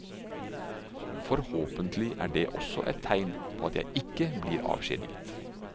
Forhåpentlig er det også et tegn på at jeg ikke blir avskjediget.